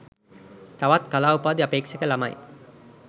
තවත් කලා උපාධි අපේක්ෂක ලමයි